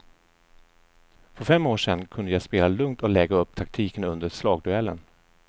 För fem år sedan kunde jag spela lugnt och lägga upp taktiken under slagduellen.